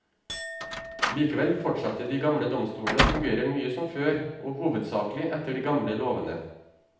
Likevel fortsatte de gamle domsstolene å fungere mye som før, og hovedsaklig etter de gamle lovene.